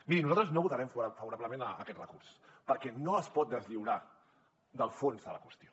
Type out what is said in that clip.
miri nosaltres no votarem favorablement a aquest recurs perquè no es pot deslliurar del fons de la qüestió